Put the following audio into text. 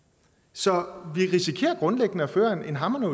så vi risikerer grundlæggende at føre en hamrende